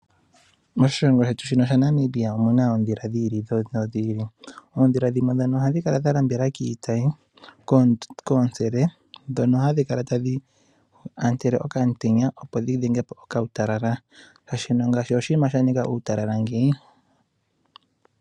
Moshilongo shetu shino shaNamibia omuna oondhila dhiili nodhi ili. Dhimwe ohadhi kala dha lambela kiitayi koontsele ndhono hadhi kala tadhi ontele okaantenya, opo dhi dhengepo okautalala.